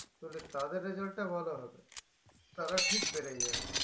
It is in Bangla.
তালে তাদের result টা ভালো হবে তারা ঠিক বেড়ে যাবে